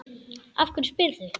Af hverju spyrðu?